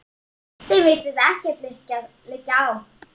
Þeim virðist ekkert liggja á.